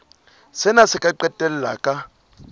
sena se ka qetella ka